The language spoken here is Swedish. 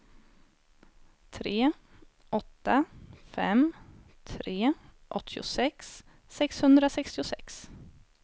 tre åtta fem tre åttiosex sexhundrasextiosex